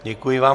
Děkuji vám.